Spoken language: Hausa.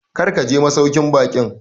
Kar ka je masauƙin baƙin!